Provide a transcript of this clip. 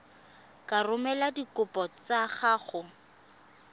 ka romela dikopo tsa gago